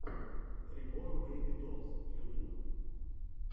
рибон бэйби долс ютуб